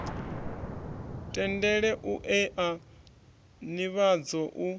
tendele u ea nivhadzo u